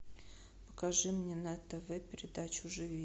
покажи мне на тв передачу живи